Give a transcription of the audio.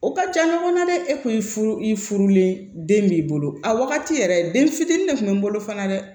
O ka ca ɲɔgɔnna dɛ e kun y'i furu i furulen den b'i bolo a wagati yɛrɛ den fitinin de tun be n bolo fana dɛ